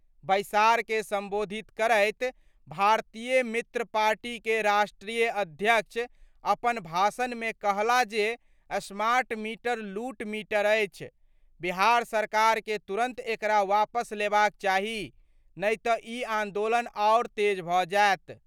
बैसार के संबोधित करैत भारतीय मित्र पार्टी के राष्ट्रीय अध्यक्ष अपन भाषण मे कहला जे स्मार्ट मीटर लूट मीटर अछि, बिहार सरकार के तुरंत एकरा वापस लेबाक चाही, नहि त' इ आंदोलन आओर तेज भ' जाएत।